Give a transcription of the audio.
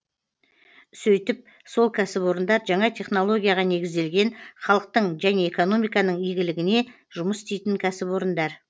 сөйтіп сол кәсіпорындар жаңа технологияға негізделген халықтың және экономиканың игілігіне жұмыс істейтін кәсіпорындар